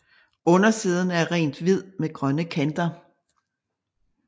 Undersiden er rent hvid med grønne kanter